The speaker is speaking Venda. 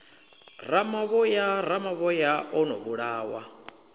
ramavhoya ramavhoya o ḓo vhulawa